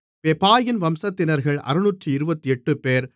பெபாயின் வம்சத்தினர்கள் 628 பேர்